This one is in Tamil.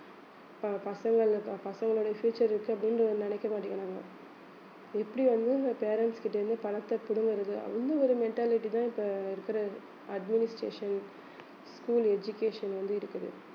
ப~ பசங்கள் ப~ பசங்களோட future இருக்கு அப்படின்னு நினைக்க மாட்டேங்கறாங்க எப்படி வந்து இந்த parents கிட்ட இருந்து பணத்தை புடுங்குறது ஒரு mentality தான் இப்ப இருக்கிற administration school education வந்து இருக்குது